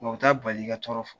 Nka o ta bali ka tɔɔrɔ